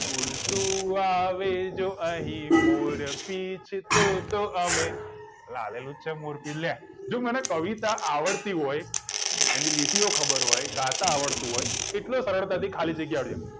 ઉડતું આવે જો અહી મોરપિચ્છ તોતો અમે અલ્યા આલેલું છે મોરપિચ્છ લ્યા જો મને કવિ તા આવડતી હોય એની લીટીઓ ખબર હોય કે ગાતા આવડતું હોય એટલે સરળતાથી ખાલી જગ્યા આવડી જાય